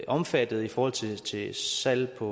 omfattet i forhold til til salg på